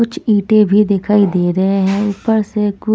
कुछ ईंटे भी दिखाई दे रहे हैं ऊपर से कु --